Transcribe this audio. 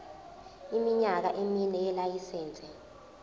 iminyaka emine yelayisense